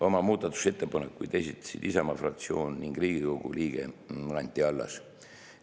Oma muudatusettepanekuid esitlesid Isamaa fraktsioon ning Riigikogu liige Anti Allas.